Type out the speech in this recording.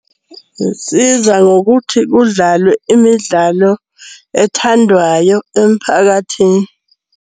Ngokuthi kudlalwe imidlalo ethandwayo emphakathini.